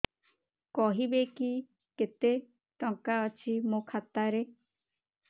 କହିବେକି କେତେ ଟଙ୍କା ଅଛି ମୋ ଖାତା ରେ